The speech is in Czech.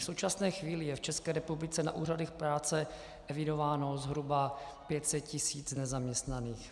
V současné chvíli je v České republice na úřadech práce evidováno zhruba 500 tisíc nezaměstnaných.